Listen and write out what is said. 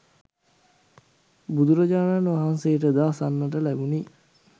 බුදුරජාණන් වහන්සේට ද අසන්නට ලැබුණි.